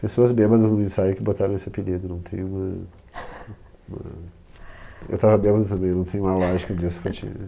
Pessoas bêbadas no ensaio que botaram esse apelido, não tem uma, uma... Eu tava bêbado também, não tem uma lógica disso para ti, né?